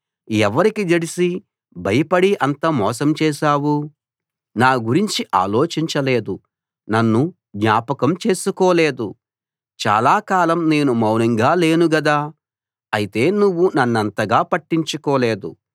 ఎవరికి జడిసి భయపడి అంత మోసం చేశావు నా గురించి ఆలోచించలేదు నన్ను జ్ఞాపకం చేసుకోలేదు చాలా కాలం నేను మౌనంగా లేను గదా అయితే నువ్వు నన్నంతగా పట్టించుకోలేదు